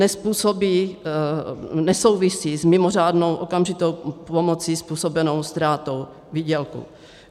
Nesouvisí s mimořádnou okamžitou pomocí způsobenou ztrátou výdělku.